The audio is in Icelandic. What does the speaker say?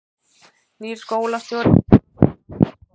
Nýr skólastjóri við sameinaðan sérskóla